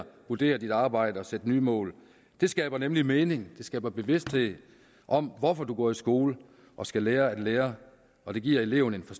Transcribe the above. vurdere sit arbejde og sætte nye mål det skaber nemlig mening det skaber bevidsthed om hvorfor man går i skole og skal lære at lære og det giver eleven en